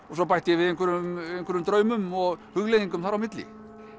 og svo bætti ég við einhverjum einhverjum draumum og hugleiðingum þar á milli